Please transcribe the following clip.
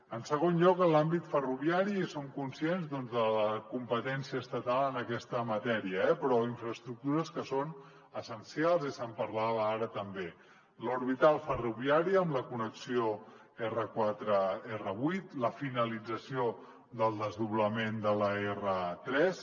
en segon lloc en l’àmbit ferroviari som conscients de la competència estatal en aquesta matèria eh en infraestructures que són essencials i se’n parlava ara també l’orbital ferroviària amb la connexió r4 r8 la finalització del desdoblament de l’r3